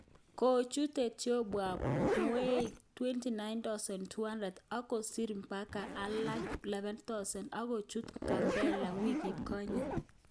Kochut Ethiopia Mweik 292000 ako sir mbaka alage 11000 ak kochut Gambella wikit konye